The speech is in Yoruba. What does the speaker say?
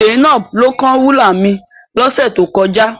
Zainab ló kán rúlà mi lọ́sẹ̀ tó kọjá.